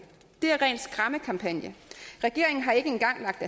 det er ren skræmmekampagne regeringen har ikke engang lagt